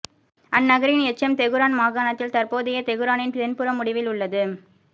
அந்நகரின் எச்சம் தெகுரான் மாகாணத்தில் தற்போதைய தெகுரானின் தென்புற முடிவில் உள்ளது